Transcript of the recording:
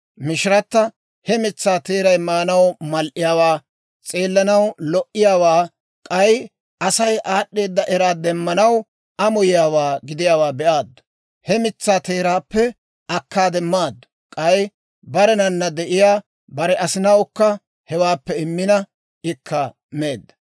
Mishirata he mitsaa teeray maanaw mal"iyaawaa, s'eellanaw lo"iyaawaa, k'ay Asay aad'd'eedda eraa demmanaw amoyiyaawaa gidiyaawaa be'aaddu; he mitsaa teeraappe akkaade maaddu; k'ay barenana de'iyaa bare asinawukka hewaappe immina, ikka meedda.